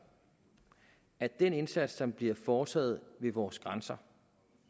at den indsats som bliver foretaget ved vores grænser